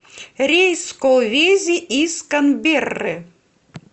рейс в колвези из канберры